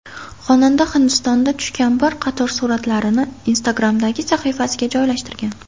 Xonanda Hindistonda tushgan bir qator suratlarini Instagram’dagi sahifasiga joylashtirgan .